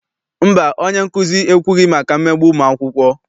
Mba, onyenkuzi ekwughị maka mmegbu ụmụakwụkwọ.